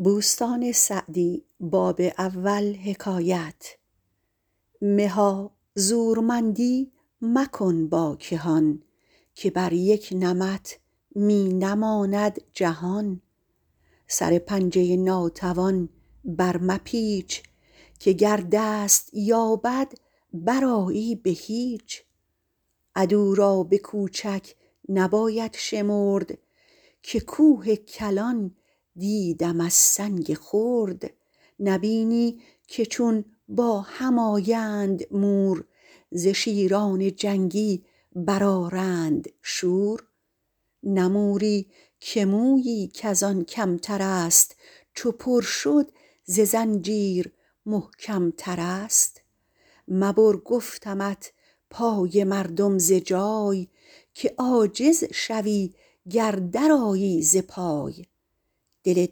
مها زورمندی مکن با کهان که بر یک نمط می نماند جهان سر پنجه ناتوان بر مپیچ که گر دست یابد برآیی به هیچ عدو را به کوچک نباید شمرد که کوه کلان دیدم از سنگ خرد نبینی که چون با هم آیند مور ز شیران جنگی برآرند شور نه موری که مویی کز آن کمتر است چو پر شد ز زنجیر محکمتر است مبر گفتمت پای مردم ز جای که عاجز شوی گر درآیی ز پای دل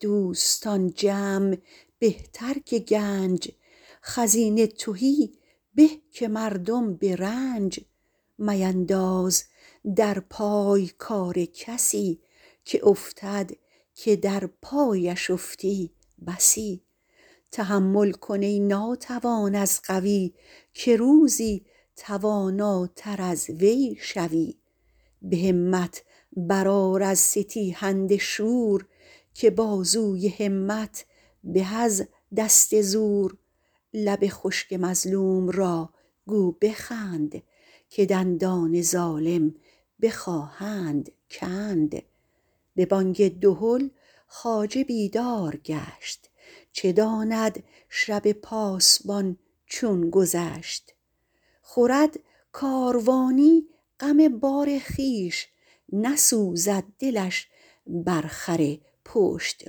دوستان جمع بهتر که گنج خزینه تهی به که مردم به رنج مینداز در پای کار کسی که افتد که در پایش افتی بسی تحمل کن ای ناتوان از قوی که روزی تواناتر از وی شوی به همت برآر از ستیهنده شور که بازوی همت به از دست زور لب خشک مظلوم را گو بخند که دندان ظالم بخواهند کند به بانگ دهل خواجه بیدار گشت چه داند شب پاسبان چون گذشت خورد کاروانی غم بار خویش نسوزد دلش بر خر پشت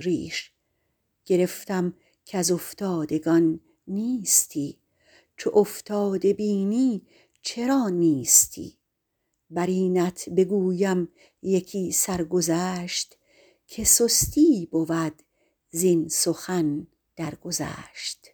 ریش گرفتم کز افتادگان نیستی چو افتاده بینی چرا نیستی بر اینت بگویم یکی سرگذشت که سستی بود زین سخن درگذشت